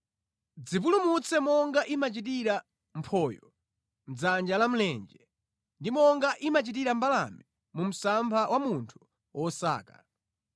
Dzipulumutse monga imachitira mphoyo mʼdzanja la mlenje, ndi monga imachitira mbalame mu msampha wa munthu wosaka.